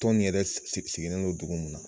Tɔn nin yɛrɛ sigilen don dugu mun na